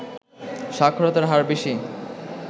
সাক্ষরতার হার বেশি